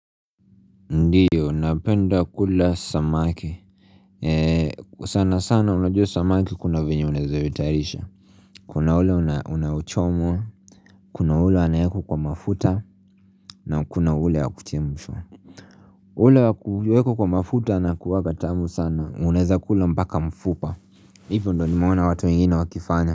Ndiyo napenda kula samaki eee sana sana unajua samaki kuna venye unaeza itayarisha kuna ule unaochomwa kuna ule anayekwa mafuta na kuna ule wa kuchemshwa ule wa kuekwa kwa mafuta anakuanga tamu sana uneza kula mpaka mfupa ipo ndo nimeona watu wengine wakifanya.